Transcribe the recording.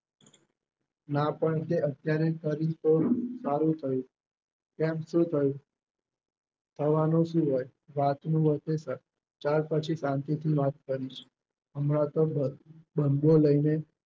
ના પણ તે અત્યારે કરી તો સારું થયું કેમ શું થયું થવાનું શું હોય વાતનું વતેશર ચાલ પછી શાંતિથી વાત કરીશું હમણાં તો બંધો લઈને